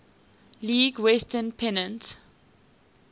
league west pennant